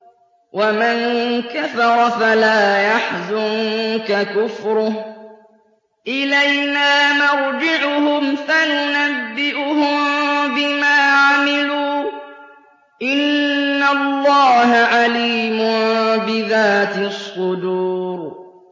وَمَن كَفَرَ فَلَا يَحْزُنكَ كُفْرُهُ ۚ إِلَيْنَا مَرْجِعُهُمْ فَنُنَبِّئُهُم بِمَا عَمِلُوا ۚ إِنَّ اللَّهَ عَلِيمٌ بِذَاتِ الصُّدُورِ